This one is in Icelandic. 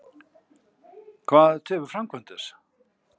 Hvað tefur framkvæmd þess?